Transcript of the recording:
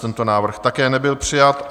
Tento návrh také nebyl přijat.